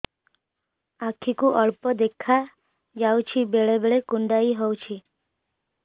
ଆଖି କୁ ଅଳ୍ପ ଦେଖା ଯାଉଛି ବେଳେ ବେଳେ କୁଣ୍ଡାଇ ହଉଛି